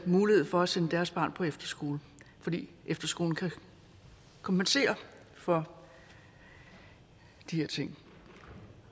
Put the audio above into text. mulighed for at sende deres barn på efterskole fordi efterskolen kan kompensere for de her ting